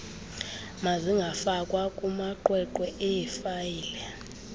mazingafakwa kumaqweqwe eefayile